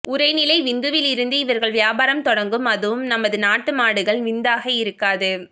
உரை நிலை விந்துவில் இருந்து இவர்கள் வியாபாரம் தொடங்கும் அதுவும் நமது நாட்டு மாடுகள் விந்தாக இருக்காது